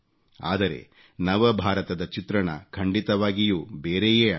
ಆದರೆ ನವ ಭಾರತದ ಚಿತ್ರಣ ಖಂಡಿತವಾಗಿಯೂ ಬೇರೆಯೇ ಆಗಿದೆ